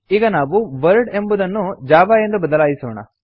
ಈಗ ನಾವು ವರ್ಲ್ಡ್ ಎಂಬುದನ್ನು ಜಾವಾ ಎಂದು ಬದಲಾಯಿಸೋಣ